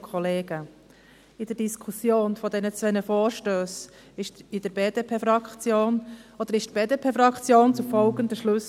In der Diskussion der beiden Vorstösse kam die BDP-Fraktion zu folgenden Schlüssen: